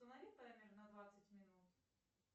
установи таймер на двадцать минут